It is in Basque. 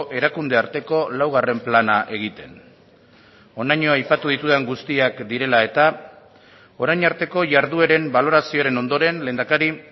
erakunde arteko laugarren plana egiten honaino aipatu ditudan guztiak direla eta orain arteko jardueren balorazioaren ondoren lehendakari